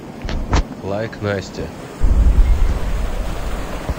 лайк настя